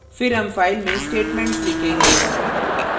फिर हम फाइल में statements लिखेंगे